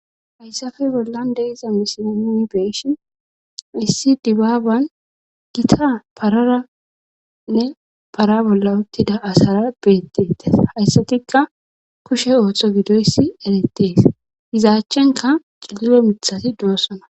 Hayssafe bollan deiza misinomi beeshi issi dibaaban gita pararanne para bolla uttida asara beetteetes hayssatikka kushe ooththo gidoyssi erettees hizaachchenka ciliyo mithati doossona.